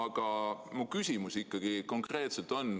Aga mu konkreetne küsimus on ikkagi endine.